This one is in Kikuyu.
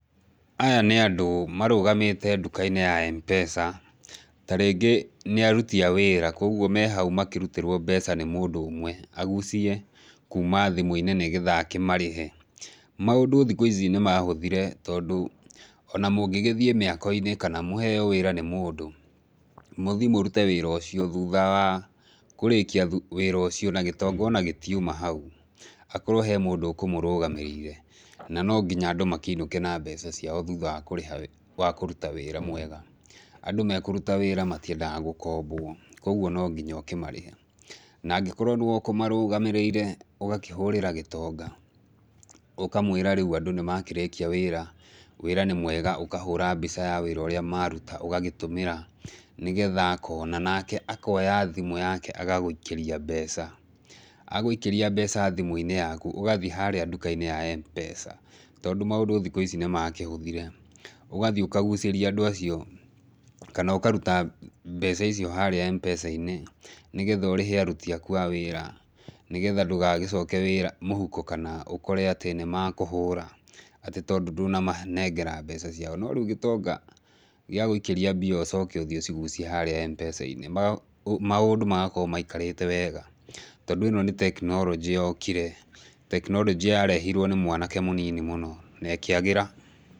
Aya nĩ andũ marũgamĩte ndukainĩ ya M-pesa, tarĩngĩ nĩ aruti a wĩra, koguo me hau makĩrutĩrwo mbeca nĩ mũndũ ũmwe, agucie kuma thimũinĩ nĩgetha akĩmarĩhe. Maũndũ thikũ ici nĩmahũthire tondũ, ona mũngĩ gĩthiĩ mĩakoinĩ, kana mũheo wĩra nĩ mũndũ, mũthiĩ mũrute wĩra ũcio thutha wa kũrĩkia wĩra ũcio, na gĩtonga ona gĩtiuma hau, hakorwo he mũndũ ũkũmũrũgamĩrĩire, na no nginya andũ makĩinũke na mbeca ciao thutha wa kũrĩha kũruta wĩra mwega, andũ mekũruta wĩra matiendaga gũkombwo, koguo no nginya ũkĩmarĩhe, na angĩkorwo nĩwe ũkũmarũgamĩrĩire, ũgakĩhũrĩra gĩtonga, ũkamwĩra rĩũ andũ nĩmakĩrĩkia wĩra, wĩra nĩ mwega, ũkahũra mbica ya wĩra ũrĩa maruta, ũgagĩtũmĩra, nĩgetha akona, nake akoya thimũ yake agagũikĩria mbeca, agũikĩria mbeca thimũinĩ yaku, ũgathiĩ harĩa ndukainĩ ya M-pesa, tondũ maũndũ thikũ ici nĩmakĩhũthire, ũgathiĩ ũkagucĩria andũ acio, kana ũkaruta mbeca icio harĩa M-pesainĩ, nĩgetha ũrĩhe aruti aku a wĩra, nĩgetha ndũgagĩcoka mũhuko, kana ũkore atĩ nĩmakũhũra. Atĩ tondũ ndũnamanenger mbeca ciao, no rĩu gĩtonga gĩa gũikĩrĩa mbia ũcoke ũthiĩ ũcigucie harĩa M-pesa-inĩ maũndũ magakorwo maikarĩte wega, tondũ ĩno nĩ tekinoronjĩ yokire, tekinoronjĩ yarehirwo nĩ mwanake mũnini mũno na ĩkĩagĩra.